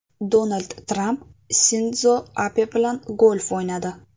Donald Tramp Sindzo Abe bilan golf o‘ynadi.